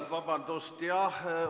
Vabandust, jah!